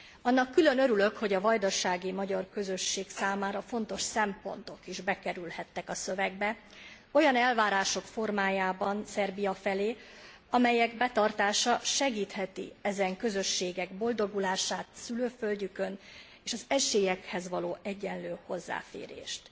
Annak külön örülök, hogy a vajdasági magyar közösség számára fontos szempontok is bekerülhettek a szövegbe olyan elvárások formájában Szerbia felé, amelyek betartása segítheti ezen közösségek boldogulását szülőföldjükön, és az esélyekhez való egyenlő hozzáférést.